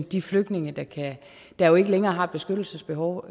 de flygtninge der jo ikke længere har et beskyttelsesbehov